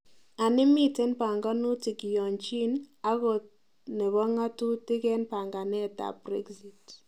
Anii miten panaganutik kiyonjin ak kot nebo ng'atutik en panganet ab Brexit?